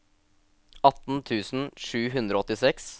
atten tusen sju hundre og åttiseks